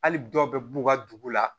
Hali dɔw bɛ b'u ka dugu la